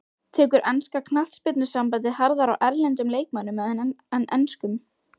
Tekur enska knattspyrnusambandið harðar á erlendum leikmönnum en enskum?